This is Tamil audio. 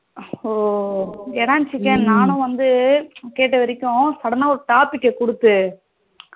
ஹம் என்னா நானும் வந்து கேட்ட வரைக்கும் sudden topic கொடுத்து